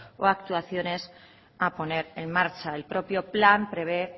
o actuaciones a poner en marcha el propio plan prevé